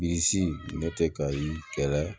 Bilisi ne tɛ kayi kɛlɛ